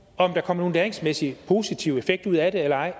om der kommer nogen læringsmæssig og positiv effekt ud af det eller ej